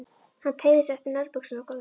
Hann teygði sig eftir nærbuxunum á gólfinu.